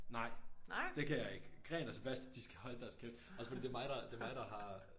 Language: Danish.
Nej! Det kan jeg ikke Gren og Sebastian de skal holde deres kæft også fordi det er mig der det mig der har